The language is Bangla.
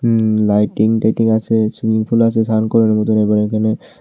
উম লাইটিং টাইটিং আছে সুইমিং পুল আছে স্নান করার মতন এবং এখানে--